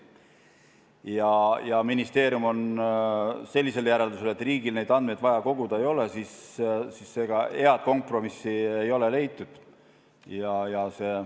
Ja kuna ministeerium on sellisel järeldusel, et riigil neid andmeid koguda vaja ei ole, siis ega head kompromissi ei ole leitud.